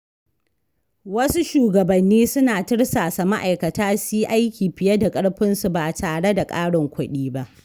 Wasu shugabanni suna tirsasa ma’aikata su yi aiki fiye da ƙarfinsu ba tare da ƙarin kuɗi ba.